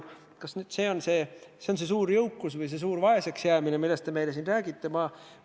Kas see on see suur jõukus või suur vaesus, millest te meile siin räägite?